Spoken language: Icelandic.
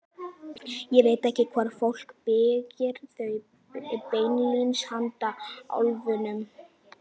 Ég veit ekki hvort fólk byggir þau beinlínis handa álfunum.